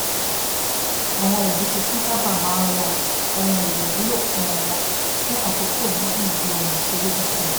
àwọn òbí tuntun sábà máa ń ra ohun èlò wúlò fún ọmọ fún àkókò gígùn ju ohun ìṣeré tuntun lọ